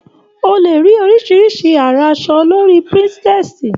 O le rí oríṣiríṣi àrà aṣọ lórí Pinterest.